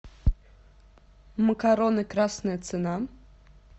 макароны красная цена